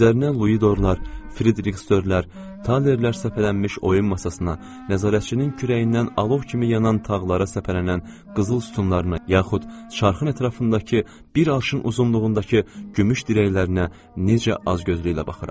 Üzərinə Luidorlar, Fridriksdörlər, talerlər səpələnmiş oyun masasına, nəzarətçinin kürəyindən alov kimi yanan tağlara səpələnən qızıl sütunlarına, yaxud çarxın ətrafındakı bir arşın uzunluğundakı gümüş dirəklərinə necə azgözlüklə baxıram.